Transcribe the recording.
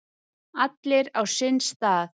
Allir á sinn stað.